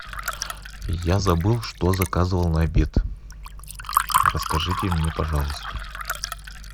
я забыл что заказывал на обед расскажите мне пожалуйста